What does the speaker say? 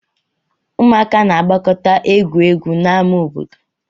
Ụmụaka na-agbakọta egwu egwu n'ama obodo